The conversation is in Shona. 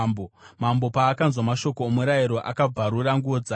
Mambo paakanzwa mashoko omurayiro, akabvarura nguo dzake.